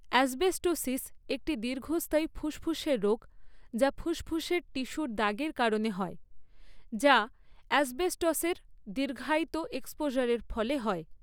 Asbestosis একটি দীর্ঘস্থায়ী ফুসফুসের রোগ যা ফুসফুসের টিস্যুর দাগের কারণে হয়, যা অ্যাসবেস্টসের দীর্ঘায়িত এক্সপোজারের ফলে হয়।